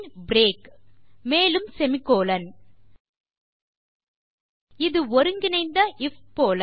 break மேலும் semi colon இது ஒருங்கிணைந்த ஐஎஃப் போல